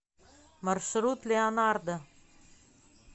маршрут леонардо